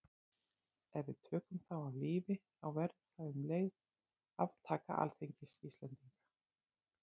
Ef við tökum þá af lífi þá verður það um leið aftaka alþingis Íslendinga.